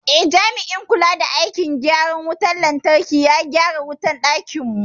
Eh, jami'in kula da aikin gyaran wutar lantarki ya gyara wutar dakinmu.